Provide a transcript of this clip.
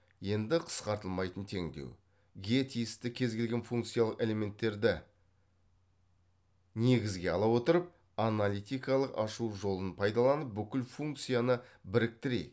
енді қысқартылмайтын теңдеу ге тиісті кез келген функциялық элементтерді негізге ала отырып аналитикалық ашу жолын пайдаланып бүкіл функцияны біріктірейік